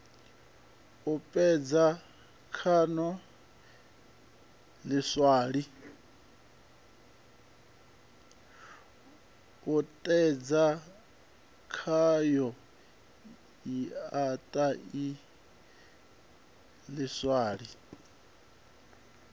puṱedza khayo siaṱari ḽiswa ḽi